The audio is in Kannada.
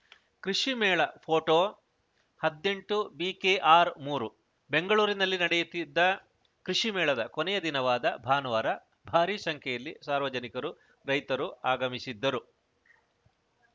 ಕೃಷಿ ಮೇಳ ಫೋಟೋ ಹದಿನೆಂಟು ಬಿಕೆಆರ್‌ ಮೂರು ಬೆಂಗಳೂರಿನಲ್ಲಿ ನಡೆಯುತ್ತಿದ್ದ ಕೃಷಿಮೇಳದ ಕೊನೆಯ ದಿನವಾದ ಭಾನುವಾರ ಭಾರಿ ಸಂಖ್ಯೆಯಲ್ಲಿ ಸಾರ್ವಜನಿಕರು ರೈತರು ಆಗಮಿಸಿದ್ದರು